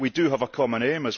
We do have a common aim.